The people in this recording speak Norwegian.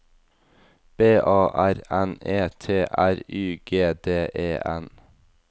B A R N E T R Y G D E N